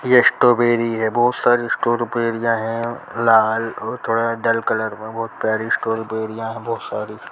ये स्ट्रॉबेरी है बहोत सारी स्ट्रॉबेरीयां है लाल और थोड़े डल कलर में बहोत प्यारी स्ट्रॉबेरीयां बहोत सारी --